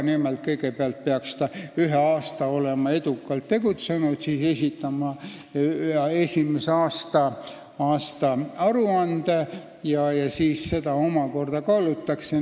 Nimelt, kõigepealt peaks ta olema ühe aasta edukalt tegutsenud, siis peab esitama esimese aasta aruande, mida omakorda kaalutakse.